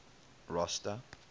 rosta